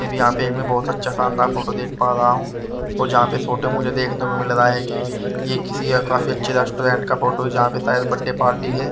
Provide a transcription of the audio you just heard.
भी यहां पे मैं बहुत अच्छा शानदार फोटो देख पा रहा हूं और जहां पे फोटो मुझे देखने को मिल रहा है कि ये किसी काफी अच्छे रेस्टोरेंट का फोटो है जहां पे शायद बर्थडे पार्टी है।